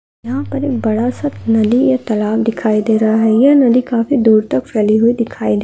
एक बड़ा सा नदी या तलाव दिखाई दे रहा है। ये नदी काफी दूर तक फेली हुई दिखाई दे रही है।